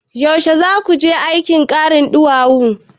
Yaushe zaki je aikin karin ɗuwawu?